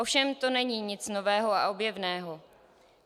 Ovšem to není nic nového a objevného.